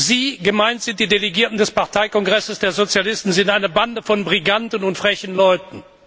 Sie gemeint sind die Delegierten des Parteikongresses der Sozialisten seien eine Bande von Briganten und frechen Leuten.